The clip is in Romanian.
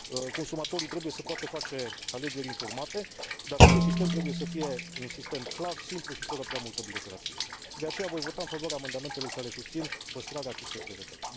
Consumatorii trebuie să poată face alegeri informate, dar acest sistem trebuie să fie un sistem clar, simplu și fără prea multă birocrație. De aceea voi vota în favoarea amendamentelor care susțin păstrarea acestei prevederi.